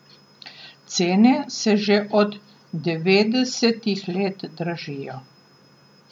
Cene se že od devetdesetih let dražijo.